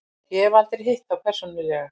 Ég hef aldrei hitt þá persónulega.